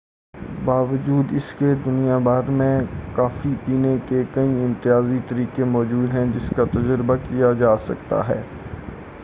باوجود اس کے دنیا بھر میں کافی پینے کے کئی امتیازی طریقے موجود ہیں جس کا تجربہ کیا جاسکتا ہے